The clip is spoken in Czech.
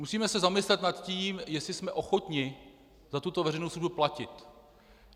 Musíme se zamyslet nad tím, jestli jsme ochotni za tuto veřejnou službu platit.